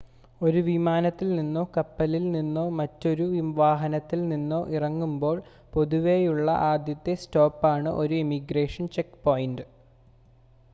ഒരു വിമാനത്തിൽ നിന്നോ കപ്പലിൽ നിന്നോ മറ്റൊരു വാഹനത്തിൽ നിന്നോ ഇറങ്ങുമ്പോൾ പൊതുവെയുള്ള ആദ്യത്തെ സ്റ്റോപ്പാണ് ഒരു ഇമിഗ്രേഷൻ ചെക്ക് പോയിൻ്റ്